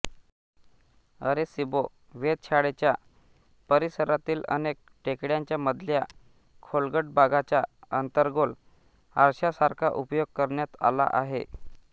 Arecibo वेधशाळेच्या परिसरातील अनेक टेकड्यांच्या मधल्या खोलगट भागाचा अंतर्गोल आरशासारखा उपयोग करण्यात आला आहे